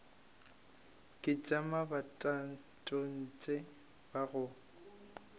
ke tša bomatontshe ba go